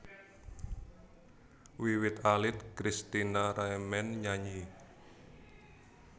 Wiwit alit Kristina remen nyanyi